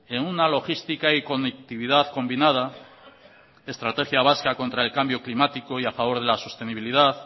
en una logística y conectividad combinada estrategia vasca contra el cambio climático y a favor de la sostenibilidad